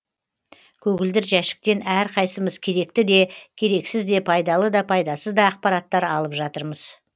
көгілдір жәшіктен әрқайсымыз керекті де керексіз де пайдалы да пайдасыз да ақпараттар алып жатырмыз